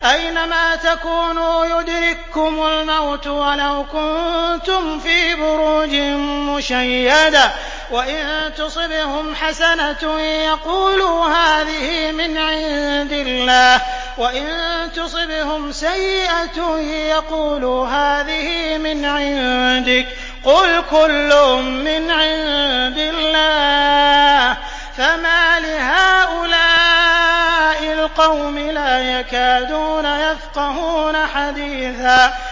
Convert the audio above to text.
أَيْنَمَا تَكُونُوا يُدْرِككُّمُ الْمَوْتُ وَلَوْ كُنتُمْ فِي بُرُوجٍ مُّشَيَّدَةٍ ۗ وَإِن تُصِبْهُمْ حَسَنَةٌ يَقُولُوا هَٰذِهِ مِنْ عِندِ اللَّهِ ۖ وَإِن تُصِبْهُمْ سَيِّئَةٌ يَقُولُوا هَٰذِهِ مِنْ عِندِكَ ۚ قُلْ كُلٌّ مِّنْ عِندِ اللَّهِ ۖ فَمَالِ هَٰؤُلَاءِ الْقَوْمِ لَا يَكَادُونَ يَفْقَهُونَ حَدِيثًا